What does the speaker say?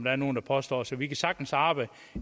er nogen der påstår så vi kan sagtens arbejde